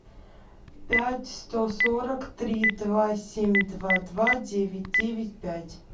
пять сто сорок три два семь два два девять девять пять